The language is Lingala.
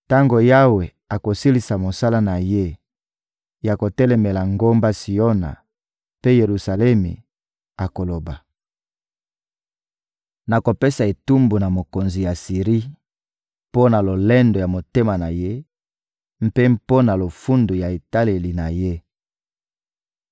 Tango Yawe akosilisa mosala na Ye ya kotelemela ngomba Siona mpe Yelusalemi, akoloba: «Nakopesa etumbu na mokonzi ya Asiri mpo na lolendo ya motema na ye mpe mpo na lofundu ya etaleli na ye.